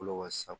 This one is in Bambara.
Kɔlɔ ka sa